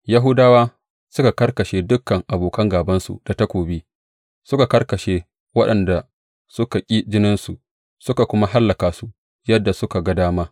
Yahudawa suka karkashe dukan abokan gābansu da takobi, suka karkashe waɗanda suka ƙi jininsu, suka kuma hallaka su yadda suka ga dama.